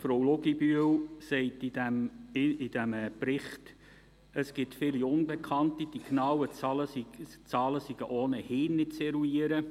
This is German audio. Frau Luginbühl sagt zu diesem Bericht, es gebe viele Unbekannte und die genauen Zahlen seien ohnehin nicht zu eruieren.